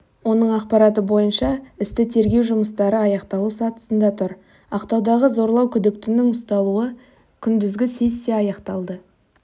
оның ақпараты бойынша істі тергеу жұмыстары аяқталу сатысында тұр ақтаудағы зорлау күдіктінің ұсталуы күндізгі сессиясы аяқталды